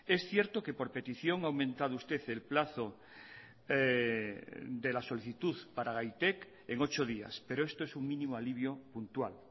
es cierto que por petición ha aumentado usted el plazo de la solicitud para gaitek en ocho días pero esto es un mínimo alivio puntual